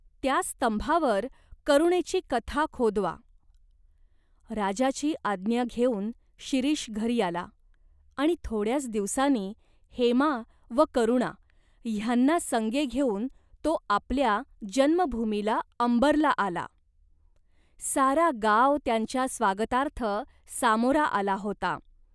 त्या स्तंभावर करुणेची कथा खोदवा." राजाची आज्ञा घेऊन शिरीष घरी आला आणि थोड्याच दिवसांनी हेमा व करुणा ह्यांना संगे घेऊन तो आपल्या जन्मभूमीला अंबरला आला. सारा गाव त्यांच्या स्वागतार्थ सामोरा आला होता.